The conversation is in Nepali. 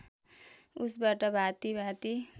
उसबाट भाँति भाँति